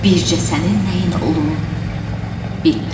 Bircə sənin nəyin olum bilmirəm.